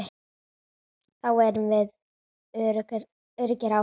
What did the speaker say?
Þá erum við öruggir áfram.